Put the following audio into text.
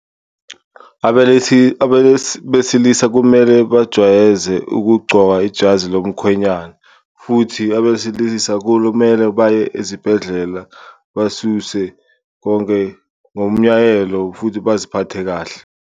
Abesilisa kumele bajwayeze ukugcoka ijazi lomkhwenyana futhi abesilisa kulumele baye ezibhedlela, basuse konke ngomyayelo futhi baziphathe kahle.